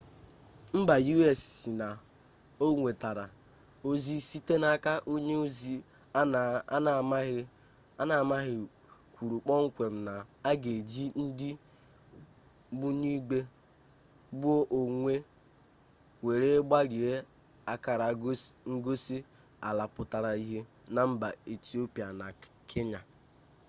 mba u.s sị na o nwetara ozi site n'aka onye ozi a na amaghị kwuru kpọmkwem na a ga eji ndị ogbunigwe gbuo onwe were gbarie akara ngosi ala pụtara ihe na mba etiopia na kenya